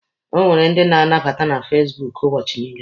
E nwere ndi na-abata na fasibuuku ụbọchị niile.